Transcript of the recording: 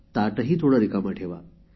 ताटेही थोडे रिकामे ठेवा